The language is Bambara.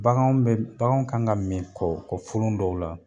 Baganw be m baganw kan ka min kɔ kɔ folon dɔ la